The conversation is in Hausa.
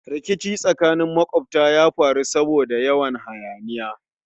Rikici tsakanin makwabtan ya faru saboda yawan hayaniya